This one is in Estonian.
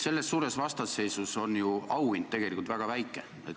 Selles suures vastasseisus on auhind tegelikult ju väga väike.